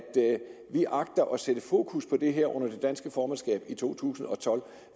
vi agter at sætte fokus på det her under det danske formandskab i 2012